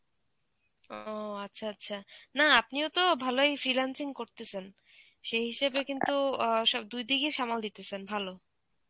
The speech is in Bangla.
ও আচ্ছা আচ্ছা. না আপনিও তো ভালোই freelancing করতেছেন, সেই হিসেবে কিন্তু অ্যাঁ সব দুইদিকই সামাল দিতেছেন ভালো.